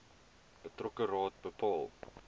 betrokke raad bepaal